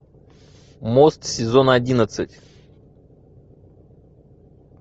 мост сезон одиннадцать